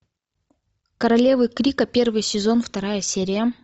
королевы крика первый сезон вторая серия